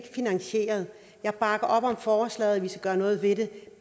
finansieret jeg bakker op om forslaget om at vi skal gøre noget ved det